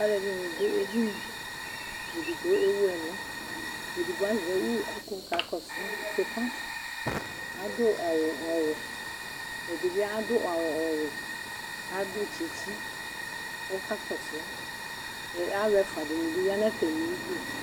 Alʋ ɛɖɩnɩ dʋ edini, edigbo ewu ɛlʋ, edgbo azɛ uwu kʋ wʋ ka kɔsʋ, adʋ awʋ ɔwɛ, ɛdɩ bɩ adʋ awʋ ɔwɛ, adʋ tsɩtsɩ kɔka kɔsʋ, alʋ ɛfʋa dɩnɩ bɩ ya n' atamɩ du